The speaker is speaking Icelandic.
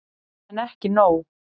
En ekki nóg.